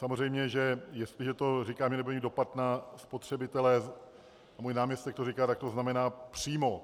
Samozřejmě že jestliže to říkám, že nebude mít dopad na spotřebitele, a můj náměstek to říká, tak to znamená přímo.